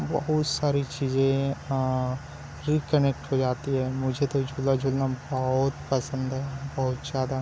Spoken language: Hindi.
बहुत साड़ी चीज़ें हैं और री कनेक्ट हो जाती हैं मुझे तो झूला झूलना बहोत पसंद हैं बहोत ज़्यादा--